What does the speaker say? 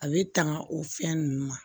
A bɛ tanga o fɛn ninnu ma